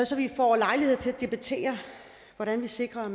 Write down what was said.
så vi får lejlighed til at debattere hvordan vi sikrer